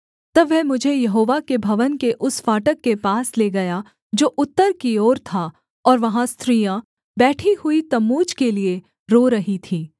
तब वह मुझे यहोवा के भवन के उस फाटक के पास ले गया जो उत्तर की ओर था और वहाँ स्त्रियाँ बैठी हुई तम्मूज के लिये रो रही थीं